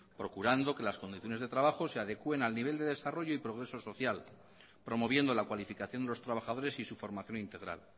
procurando que las condiciones de trabajo se adecuen al nivel de desarrollo y progreso social promoviendo la cualificación de los trabajadores y su formación integral